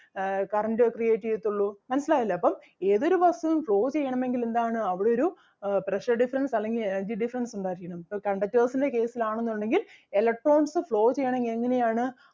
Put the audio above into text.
ആഹ് current create ചെയ്യത്തൊള്ളൂ മനസ്സിലായില്ലേ അപ്പം ഏതൊരു വസ്‌തുവും flow ചെയ്യണമെങ്കിൽ എന്താണ് അവിടൊരു ആഹ് pressure difference അല്ലെങ്കിൽ energy difference ഉണ്ടായിരിക്കണം ഇപ്പൊ conductors ൻ്റെ case ല് ആണെന്നുണ്ടെങ്കിൽ electrons flow ചെയ്യണെങ്കിൽ എങ്ങനെ ആണ്